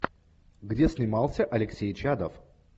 где снимался алексей чадов